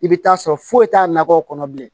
I bɛ taa sɔrɔ foyi t'a nakɔ kɔnɔ bilen